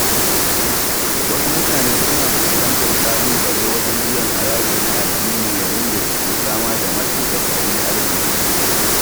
Wasu mutane suna fuskantar ƙalubale wajen biyan haraji na addini yayin da suke fama da matsin tattalin arziki.